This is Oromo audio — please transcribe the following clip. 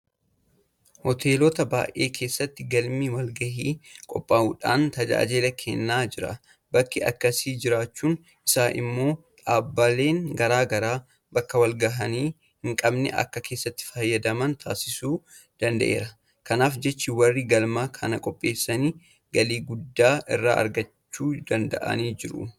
Hoteelota baay'ee keessatti galmi walgahii qophaa'uudhaan tajaajila kennaa jira. Bakki akkasii jiraachuun isaa immoo dhaabbileen garaa garaa bakka walgahii hinqabne akka keessatti fayyadaman taasisuu danda'eera. Kanaaf jecha warri galma kana qopheessan galii guddaa irraa argachuu danda'aniiru.